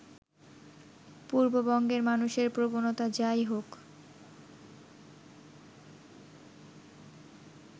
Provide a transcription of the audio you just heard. পূর্ববঙ্গের মানুষের প্রবণতা যাই হোক